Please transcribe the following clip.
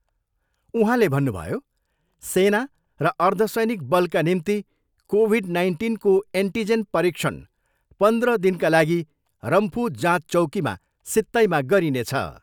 उहाँले भन्नुभयो, सेना र अर्धसैनिक बलका निम्ति कोभिड नाइन्टिनको एन्टिजेन परीक्षण पन्ध्र दिनका लागि रम्फू जाँच चौकीमा सित्तैमा गरिनेछ।